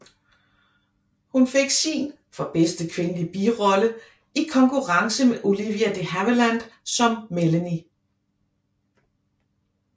Hun fik sin for bedste kvindelige birolle i konkurrence med Olivia de Havilland som Melanie